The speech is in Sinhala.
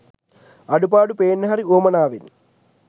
අඩුපාඩු පේන්න හරි වුවමනාවෙන්